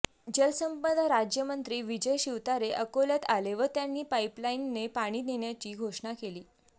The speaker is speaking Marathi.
जलसंपदा राज्यमंत्री विजय शिवतारे अकोल्यात आले व त्यांनी पाईपलाईनने पाणी नेण्याची घोषणा केली